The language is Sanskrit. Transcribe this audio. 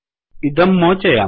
इदं मोचयामः